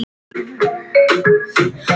Þú ert bestur.